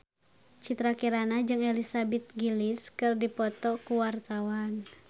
Citra Kirana jeung Elizabeth Gillies keur dipoto ku wartawan